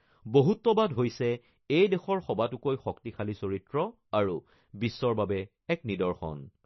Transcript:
বহুত্ববাদ হৈছে এই দেশৰ সবাতোকৈ শক্তিশালী চৰিত্ৰ আৰু বিশ্বৰ বাবে এক নিদৰ্শন।